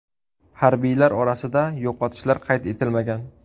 Harbiylar orasida yo‘qotishlar qayd etilmagan.